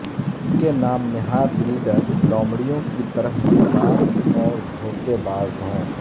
جس کے نام نہاد لیڈر لومڑیوں کی طرح مکار اور دھوکے باز ہوں